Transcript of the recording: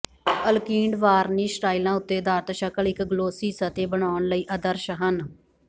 alkyd varnish ਰਾਇਲਾਂ ਉੱਤੇ ਅਧਾਰਤ ਸ਼ਕਲ ਇੱਕ ਗਲੋਸੀ ਸਤਹ ਬਣਾਉਣ ਲਈ ਆਦਰਸ਼ ਹਨ